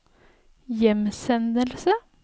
hjemsendelse